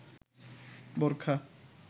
বোরকা